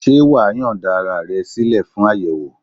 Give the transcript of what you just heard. Ṣé wàá́ yọ̀ǹda ara rẹ sílẹ̀ fún àyẹ̀wò?